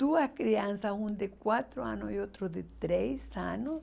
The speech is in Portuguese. Duas crianças, uma de quatro anos e outra de três anos.